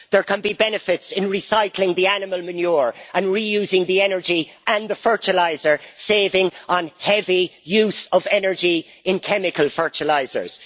there can be benefits in recycling the animal manure and reusing the energy and the fertiliser, saving on heavy use of energy in chemical fertilisers.